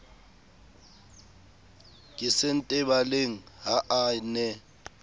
ke sentebaleng ha a ne